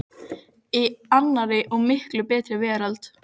Glaðkampalegur, hávaxinn maður sem hét Hans Þorleifsson og var úrsmiður.